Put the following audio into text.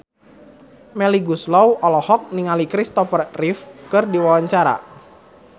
Melly Goeslaw olohok ningali Christopher Reeve keur diwawancara